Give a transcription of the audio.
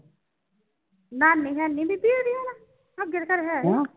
ਨਾਨੀ ਹੈ ਨਈ ਉਦੀ ਦੀਦੀ ਹੁਣ ਕੇ ਹੈ ਵਾ